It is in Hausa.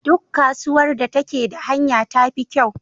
Duk kasuwar da take da hanya tafi kyau.